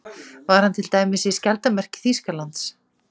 Var hann til dæmis í skjaldarmerki Þýskalands?